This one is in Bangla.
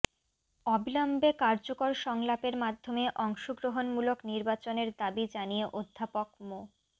অবিলম্বে কার্যকর সংলাপের মাধ্যমে অংশগ্রহণমূলক নির্বাচনের দাবি জানিয়ে অধ্যাপক মো